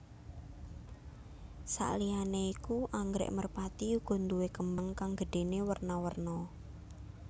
Sakliyané iku anggrèk merpati uga nduwé kembang kang gedhéné werna werna